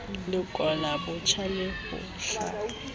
lekola botjha le ho hlaola